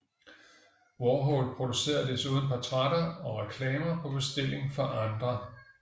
Warhol producerede desuden portrætter og reklamer på bestilling fra andre